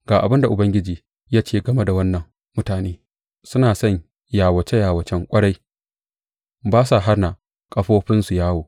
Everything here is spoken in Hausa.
Ga abin da Ubangiji ya ce game da wannan mutane, Suna son yawace yawace ƙwarai; ba sa hana ƙafafunsu yawo.